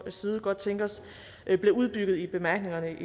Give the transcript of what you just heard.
side godt tænke os at det blev udbygget i bemærkningerne